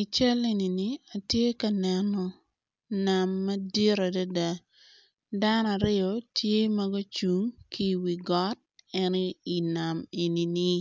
I cal enini atye neno nam madit adada dano aryo tye magucung ki wigot en iwi nam enini